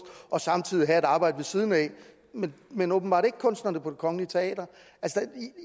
og samtidig have et arbejde ved siden af men åbenbart ikke kunsterne på det kongelige teater